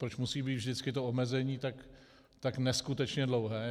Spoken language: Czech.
Proč musí být vždycky to omezení tak neskutečně dlouhé?